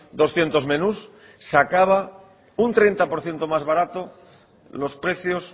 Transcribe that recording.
doscientos menús sacaba un treinta por ciento más barato los precios